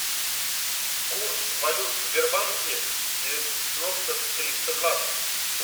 курс валют в сбербанке девяносто триста двадцать